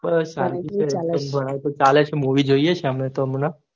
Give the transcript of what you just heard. બસ શાંતિ છે શાંતિ છે movie જોઈં છે અમેતો હમણાં